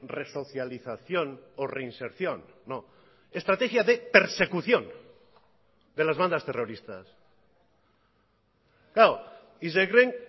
resocialización o reinserción no estrategia de persecución de las bandas terroristas claro y se creen